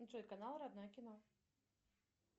джой канал родное кино